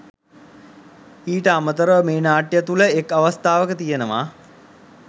ඊට අමතරව මේ නාට්‍ය තුළ එක් අවස්ථාවක තියෙනවා